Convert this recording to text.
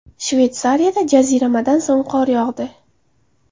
Shveysariyada jaziramadan so‘ng qor yog‘di.